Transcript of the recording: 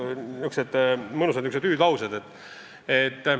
Nii et niisugused mõnusad hüüdlaused.